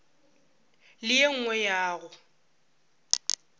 le ye nngwe ya go